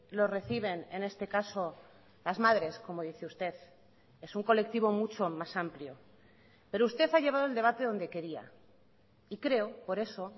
lo reciben en este caso las madres como dice usted es un colectivo mucho más amplio pero usted ha llevado el debate donde quería y creo por eso